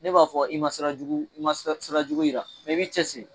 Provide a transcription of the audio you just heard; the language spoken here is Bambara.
Ne b'a fɔ i ma sira jugu, i ma sira jugu yira i b'i cɛsiri